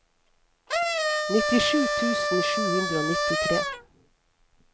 nittisju tusen sju hundre og nittitre